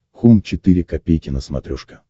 хоум четыре ка на смотрешке